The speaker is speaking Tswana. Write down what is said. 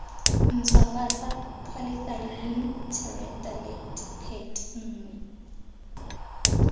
ntshwafatsa polythylene terephthalate pet nngwe